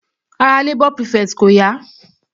Ara labour prefect kò yá.